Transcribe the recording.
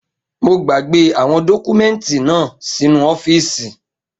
Mo gbàgbé àwọn dọ́kúmẹ́ǹtì náà sínu ọ́fìsì